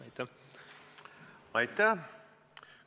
Aitäh!